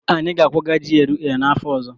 Anyị ga-akwaga GRA n'afọ ọzọ